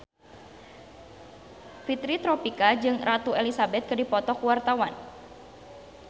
Fitri Tropika jeung Ratu Elizabeth keur dipoto ku wartawan